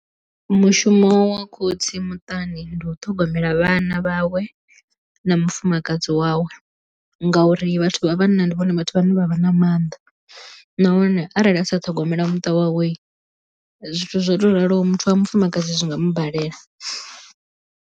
Mushumo wa khotsi muṱani ndi u ṱhogomela vhana vhawe na mufumakadzi wawe ngauri vhathu vha vhanna ndi vhone vhathu vhane vha vha na mannḓa nahone arali a sa ṱhogomela muṱa wawe zwithu zwo to raloho muthu wa mufumakadzi zwi nga mu balela.